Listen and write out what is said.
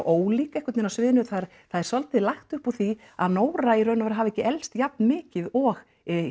ólík einhvern veginn á sviðinu það er svolítið lagt upp úr því að Nóra í raun og veru hafi ekki elst jafn mikið og